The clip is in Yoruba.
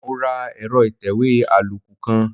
Mo ra ẹ̀rọ ìtẹ̀wé àlòkù kan.